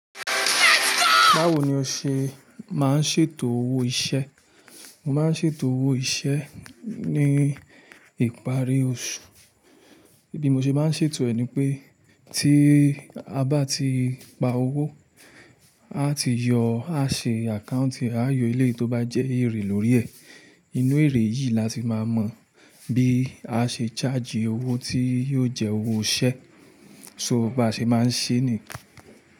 Báwo ni o ṣe máa ń ṣètò owó iṣẹ́? Mo máa ń ṣètò owó iṣẹ́ ní ìparí oṣù. Bí mo ṣe bá ń ṣètò ẹ̀ ni pé tí a bá ti gba owó, aa ti yọ, a ṣe account, a yọ eléyi tó bá jẹ́ èrè lórí ẹ̀. Inú èrè yìí la ti máa mọ̀ bí a ṣe charge owó tí yóò jẹ́ owó iṣẹ́. So bá ṣe máa ń ṣe ni.